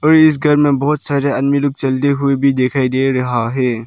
और इस घर में बहोत सारे आदमी लोग चलते हुए भी दिखाई दे रहा है।